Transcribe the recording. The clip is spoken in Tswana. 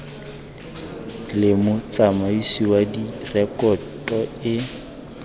le motsamaisi wa direkoto e